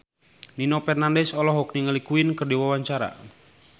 Nino Fernandez olohok ningali Queen keur diwawancara